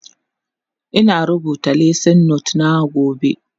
Ina rubuta lesson note na gobe